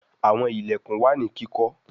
Àwọn ilẹkùn wá ní kíkó.